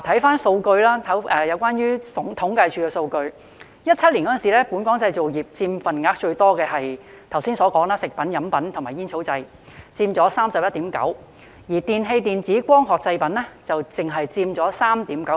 看看政府統計處的數據 ，2017 年本港製造業中佔份額最多的就是剛才提到的"食品、飲品及煙草製品"，佔 31.9%， 而"電器、電子及光學製品"只佔 3.9%。